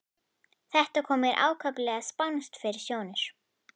Þetta kom mér ákaflega spánskt fyrir sjónir.